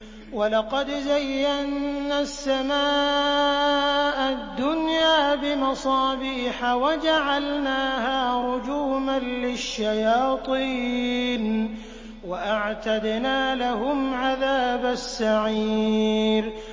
وَلَقَدْ زَيَّنَّا السَّمَاءَ الدُّنْيَا بِمَصَابِيحَ وَجَعَلْنَاهَا رُجُومًا لِّلشَّيَاطِينِ ۖ وَأَعْتَدْنَا لَهُمْ عَذَابَ السَّعِيرِ